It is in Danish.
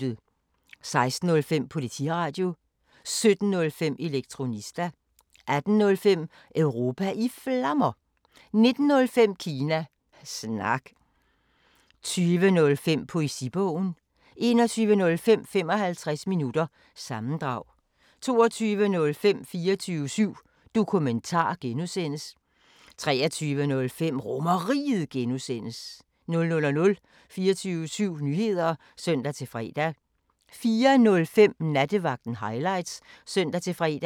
16:05: Politiradio 17:05: Elektronista 18:05: Europa i Flammer 19:05: Kina Snak 20:05: Poesibogen 21:05: 55 minutter – sammendrag 22:05: 24syv Dokumentar (G) 23:05: RomerRiget (G) 00:00: 24syv Nyheder (søn-fre) 04:05: Nattevagten Highlights (søn-fre)